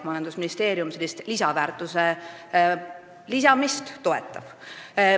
Majandusministeerium sellist lisandväärtuse suurendamist toetab.